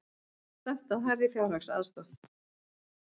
Stefnt að hærri fjárhagsaðstoð